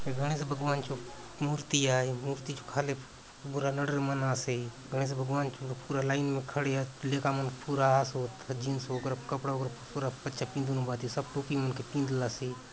ये गणेश भगवान चो मूर्ति आय मूर्ति चो खाले पूरा नरेड़ मन आसे गणेश भगवान चो पूरा लाइन ने खड़े आत लेका मन पूरा आसोत जींस वगैरा कपड़ा वगैरा पूरा अच्छा पिनधुन भांति सब टोपी मन के पिँधलासे।